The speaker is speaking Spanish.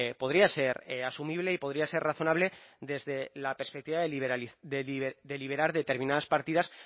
podría ser asumible y podría ser razonable desde la perspectiva de liberar determinadas partidas